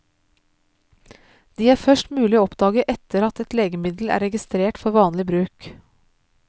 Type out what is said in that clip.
De er først mulig å oppdage etter at et legemiddel er registrert for vanlig bruk.